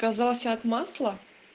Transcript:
казался от масла